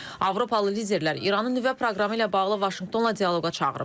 Avropalı liderlər İranın nüvə proqramı ilə bağlı Vaşinqtonla dialoqa çağırıb.